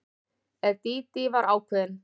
En Dídí var ákveðin.